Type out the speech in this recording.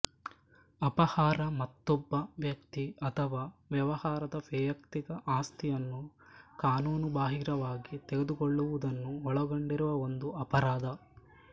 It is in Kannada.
ಅಪಹಾರ ಮತ್ತೊಬ್ಬ ವ್ಯಕ್ತಿ ಅಥವಾ ವ್ಯವಹಾರದ ವೈಯಕ್ತಿಕ ಆಸ್ತಿಯನ್ನು ಕಾನೂನುಬಾಹಿರವಾಗಿ ತೆಗೆದುಕೊಳ್ಳುವುದನ್ನು ಒಳಗೊಂಡಿರುವ ಒಂದು ಅಪರಾಧ